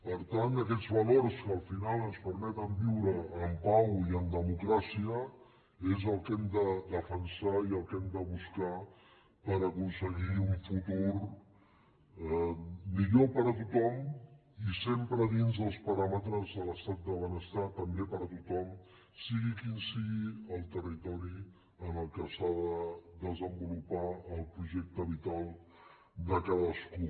per tant aquests valors que al final ens permeten viure en pau i en democràcia és el que hem de defensar i el que hem de buscar per aconseguir un futur millor per a tothom i sempre dins dels paràmetres de l’estat de benestar també per a tothom sigui quin sigui el territori en què s’ha de desenvolupar el projecte vital de cadascú